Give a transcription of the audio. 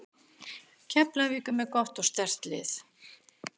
Keflavík er með gott og sterkt lið.